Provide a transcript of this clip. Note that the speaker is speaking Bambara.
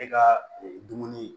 E ka dumuni